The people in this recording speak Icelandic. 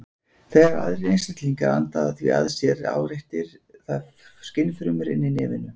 Þegar aðrir einstaklingar anda því að sér áreitir það skynfrumur inni í nefinu.